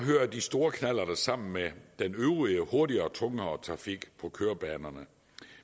kører de store knallerter sammen med den øvrige hurtigere og tungere trafik på kørebanerne